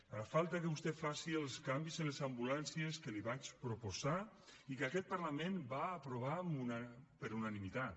ara falta que vostè faci els canvis en les ambulàncies que li vaig proposar i que aquest parlament va aprovar per unanimitat